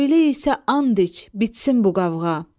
Öylə isə and iç, bitsin bu qavğa.